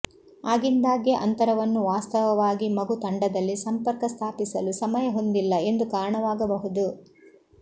ಆಗಿಂದಾಗ್ಗೆ ಅಂತರವನ್ನು ವಾಸ್ತವವಾಗಿ ಮಗು ತಂಡದಲ್ಲಿ ಸಂಪರ್ಕ ಸ್ಥಾಪಿಸಲು ಸಮಯ ಹೊಂದಿಲ್ಲ ಎಂದು ಕಾರಣವಾಗಬಹುದು